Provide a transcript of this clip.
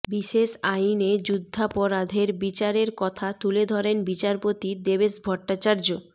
বিশেষ আইনে যুদ্ধাপরাধের বিচারের কথা তুলে ধরেন বিচারপতি দেবেশ ভট্টাচার্য